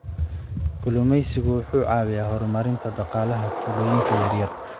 Kalluumeysigu wuxuu caawiyaa horumarinta dhaqaalaha tuulooyinka yaryar.